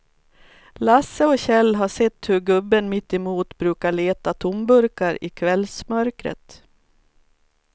Lasse och Kjell har sett hur gubben mittemot brukar leta tomburkar i kvällsmörkret.